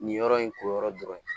Nin yɔrɔ in ko yɔrɔ dɔrɔn